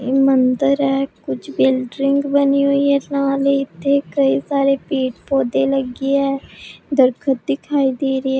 ਇਹ ਮੰਦਰ ਐ ਕੁਝ ਬਿਲਡਰਿੰਗ ਬਣੀ ਹੋਈ ਐ ਇੱਥੇ ਕਈ ਸਾਰੇ ਪੇੜ ਪੌਦੇ ਲੱਗੇ ਐ ਦਰਖਤ ਦਿਖਾਈ ਦੇ ਰਹੇ ਐ।